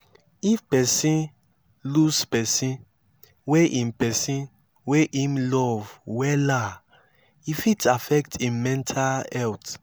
if person lose person wey im person wey im love wella e fit affect im mental health